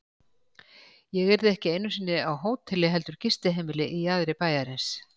Ég yrði ekki einu sinni á hóteli heldur gistiheimili í jaðri bæjarins.